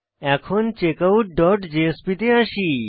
এখন checkout dot JSP তে আসি